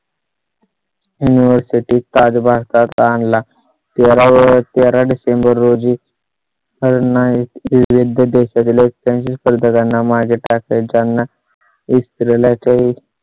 university आज भारतात आणला तेरा तेरा december रोजी. नाही विविध देशातील स्पर्धकांना मागे टाकत. ज्यांना स्त्री ला काही